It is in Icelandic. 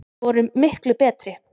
Vorum miklu betri.